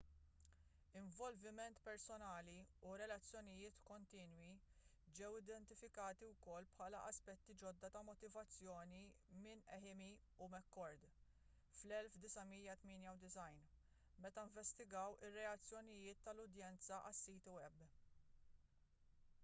involviment personali” u relazzjonijiet kontinwi” ġew identifikati wkoll bħala aspetti ġodda ta’ motivazzjoni minn eighmey u mccord 1998 meta investigaw ir-reazzjonijiet tal-udjenza għas-siti web